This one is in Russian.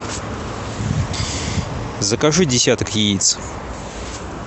закажи десяток яиц